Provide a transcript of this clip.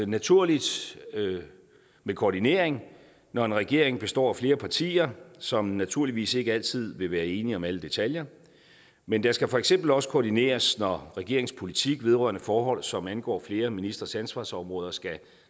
naturligt med koordinering når en regering består af flere partier som naturligvis ikke altid vil være enige om alle detaljer men der skal for eksempel også koordineres når regeringens politik vedrørende forhold som angår flere ministres ansvarsområder skal